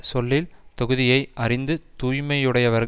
சொல்லின் தொகுதியை அறிந்த தூய்மையையுடையவர்